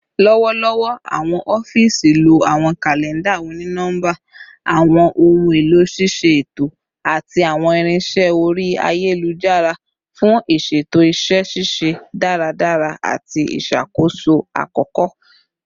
Lọwọlọwọ, awọn ọfiisi lo awọn kalẹnda oni-nọmba, awọn ohun elo ṣiṣe eto, ati awọn irinṣẹ ori ayelujara fun iṣeto iṣẹ ṣiṣe daradara ati iṣakoso akoko